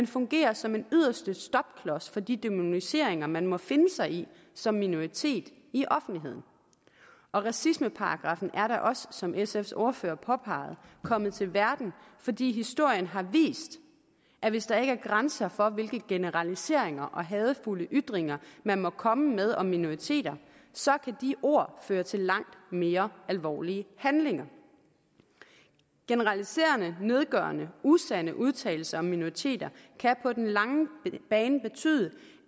fungerer som en yderste stopklods for de dæmoniseringer man må finde sig i som minoritet i offentligheden racismeparagraffen er da også som sfs ordfører påpegede kommet til verden fordi historien har vist at hvis der ikke er grænser for hvilke generaliseringer og hadefulde ytringer man må komme med om minoriteter så kan de ord føre til langt mere alvorlige handlinger generaliserende nedgørende og usande udtalelser om minoriteter kan på den lange bane betyde